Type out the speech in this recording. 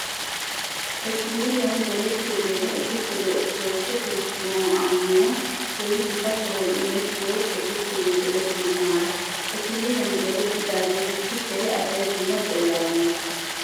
Tekiliiliyan gelettiyogeenne ekettiyogee orttodokise kiristtina ammanuwan keehi gita sohoy imettiyo ekkettiyoonne gelettiyo maara. Tekiliiliyan gelettidaageetussi dere asay dumma xeelaa immees.